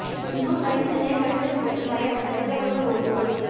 குன்னூா் ரயில் நிலைய கழிவறை சுவற்றில் வரையப்பட்ட திருவள்ளுவா் ஓவியம் அழிப்பு